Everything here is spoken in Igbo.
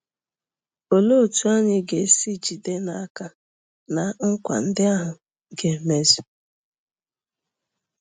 Olee otú anyị ga-esi jide n'aka na nkwa ndị ahụ ga-emezu?